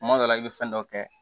Kuma dɔ la i bɛ fɛn dɔ kɛ